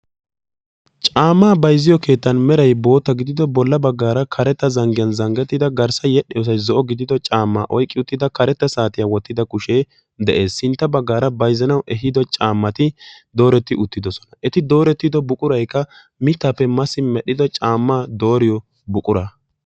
Caama bayzziyo keettan meray boottaa gidido bolla baggaara karetta zanggiyan zanggettida garssa yedhdhiyosay zo'o gidido caama oyqqi uttida karetta saatiyaa wotti uttida kushe de'ees. Sintta baggaara bayzzanawu eehido caamati dooretti uttidosona. Eti doorettido buquray qa miittappe masi medhdhido caamaa dooriyo buqura.